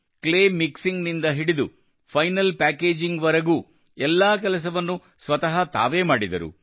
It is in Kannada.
ಕ್ಲೇ ಮಿಕ್ಸಿಂಗ್ ನಿಂದ ಹಿಡಿದು ಫೈನಲ್ ಪ್ಯಾಕೇಜಿಂಗ್ ವರೆಗೂ ಎಲ್ಲಾ ಕೆಲಸವನ್ನೂ ಸ್ವತಃ ತಾವೇ ಮಾಡಿದರು